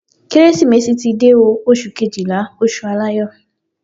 Kérésìmesì ti dé o. Oṣù Kejìlá, oṣù aláyọ̀.